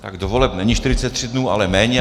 Do voleb není 43 dní, ale méně.